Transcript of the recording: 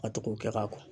A to k'o kɛ ka kɔ